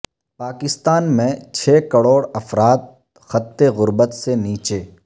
پاکستان میں چھ کروڑ افراد خط غربت سے نیچے